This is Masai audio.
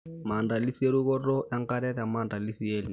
maamdalisi e rukoto enkare te maandalisi e lnino ,